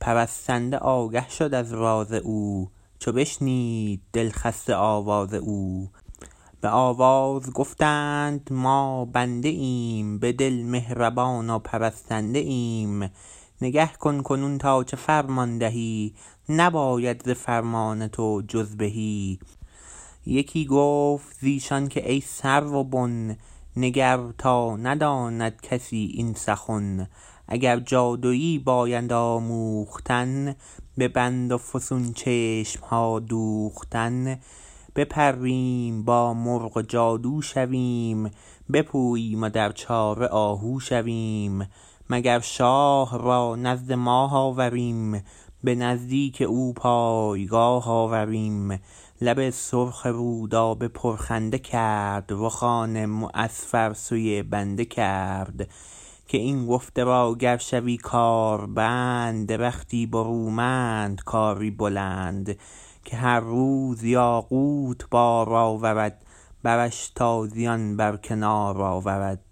پرستنده آگه شد از راز او چو بشنید دل خسته آواز او به آواز گفتند ما بنده ایم به دل مهربان و پرستنده ایم نگه کن کنون تا چه فرمان دهی نیاید ز فرمان تو جز بهی یکی گفت ز ایشان که ای سرو بن نگر تا نداند کسی این سخن اگر جادویی باید آموختن به بند و فسون چشمها دوختن بپریم با مرغ و جادو شویم بپوییم و در چاره آهو شویم مگر شاه را نزد ماه آوریم به نزدیک او پایگاه آوریم لب سرخ رودابه پرخنده کرد رخان معصفر سوی بنده کرد که این گفته را گر شوی کاربند درختی برومند کاری بلند که هر روز یاقوت بار آورد برش تازیان بر کنار آورد